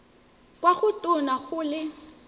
kwa go tona go le